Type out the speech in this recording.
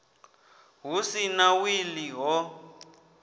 hu si na wili ho